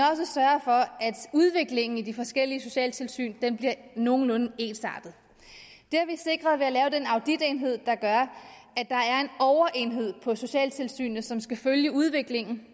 udviklingen i de forskellige socialtilsyn bliver nogenlunde ensartet det har vi sikret ved at lave den auditenhed der gør at overenhed på socialtilsynet som skal følge udviklingen